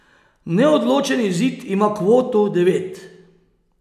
Neodločen izid ima kvoto devet.